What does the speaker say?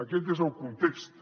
aquest és el context